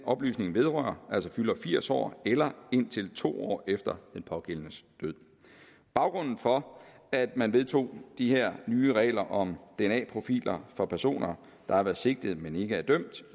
oplysningen vedrører fylder firs år eller indtil to år efter den pågældendes død baggrunden for at man vedtog de her nye regler om dna profiler for personer der har været sigtet men ikke